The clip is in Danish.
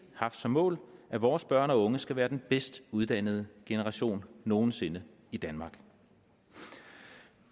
haft som mål at vores børn og unge skal være den bedst uddannede generation nogen sinde i danmark